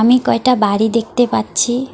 আমি কয়টা বাড়ি দেখতে পাচ্ছি।